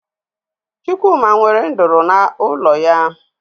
Chụkwụma nwere ndụrụ n'ụlọ ya